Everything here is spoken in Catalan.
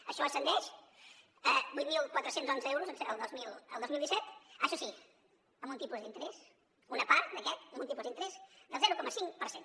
això ascendeix a vuit mil quatre cents i onze euros el dos mil disset això sí amb un tipus d’interès una part d’aquest amb un tipus d’interès del zero coma cinc per cent